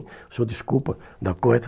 O senhor desculpa da coisa.